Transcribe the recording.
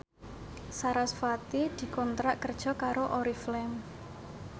sarasvati dikontrak kerja karo Oriflame